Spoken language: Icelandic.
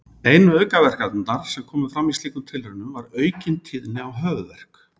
Einu aukaverkanirnar sem komu fram í slíkum tilraunum var aukin tíðni á höfuðverk.